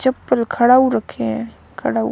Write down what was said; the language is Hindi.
चप्पल खड़ाऊ रखे हैं खड़ाऊ--